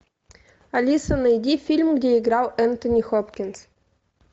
алиса найди фильм где играл энтони хопкинс